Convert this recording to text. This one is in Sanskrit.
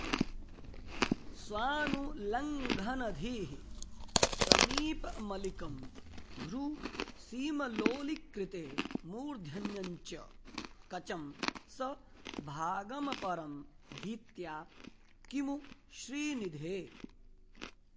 स्वानुल्लङ्घनधीः समीपमलिकं भ्रूसीमलोलीकृते मूर्धन्यञ्च कचं स भागमपरं भीत्या किमु श्रीनिधे